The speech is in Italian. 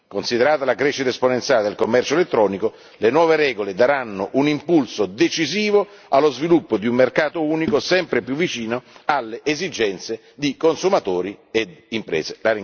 Considerata la crescita esponenziale del commercio elettronico, le nuove regole daranno un impulso decisivo allo sviluppo di un mercato unico sempre più vicino alle esigenze di consumatori e imprese.